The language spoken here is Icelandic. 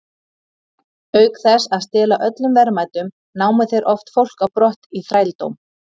Auk þess að stela öllum verðmætum, námu þeir oft fólk á brott í þrældóm.